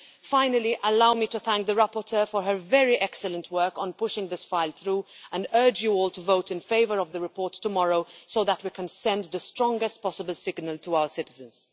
Finally, allow me to thank the rapporteur for her very excellent work in pushing this file through, and urge you all to vote in favour of the report tomorrow so that we can send the strongest possible signal to our citizens.